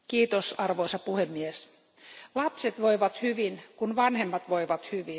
Arvoisa puhemies, lapset voivat hyvin, kun vanhemmat voivat hyvin.